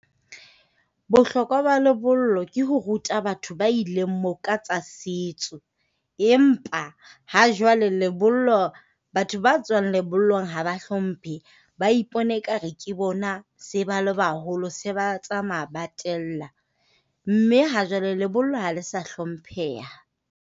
Bohlokwa ba lebollo ke ho ruta batho ba ileng moo ka tsa setso. Empa ha jwale lebollo batho ba tswang lebollong ha ba hlomphe. Ba ipona e ka re ke bona se ba le baholo, se ba tsamaya ba tella. Mme ha jwale lebollo ha le sa hlompheha.